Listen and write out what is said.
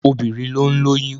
Obìnrin ló ń lóyún.